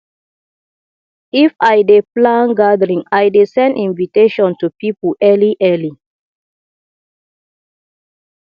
if i dey plan gathering i dey send invitation to pipo early early